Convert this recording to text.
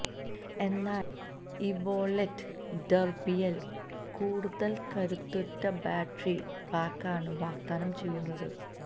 എന്നാല് ഇവോലെറ്റ് ഡെര്ബിയില് കൂടുതല് കരുത്തുറ്റ ബാറ്ററി പായ്ക്കാണ് വാഗ്ദാനം ചെയ്യുന്നത്